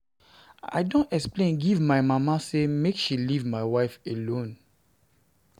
I don explain give my mama sey make she leave my wife alone.